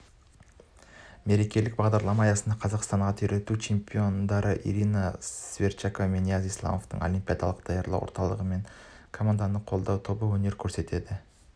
мерекелік бағдарлама аясында қазақстанның ат үйретуден чемпиондары ирина сверчкова мен нияз исламовтың олимпиадалық даярлау орталығы мен команданы қолдау тобы өнер көрсетеді